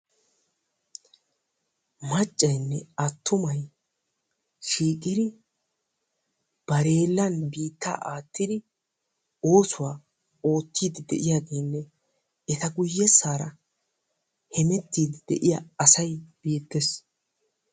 Maccaynne attumay shiiqidi bareelan biittaa aattidi oosuwaa oottidi de'iyaagenne eta guyyeessaara hemettide de'iyaa asay beettees.